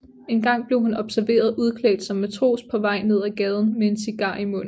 En gang blev hun observeret udklædt som matros på vej nedad gaden med en cigar i munden